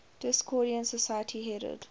discordian society headed